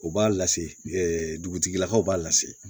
U b'a lase dugutigilakaw b'a lase